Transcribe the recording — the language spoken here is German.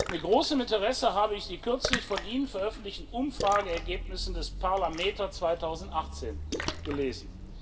Mit großem Interesse habe ich die kürzlich von Ihnen veröffentlichten Umfrageergebnisse des Parlameter 2018 gelesen.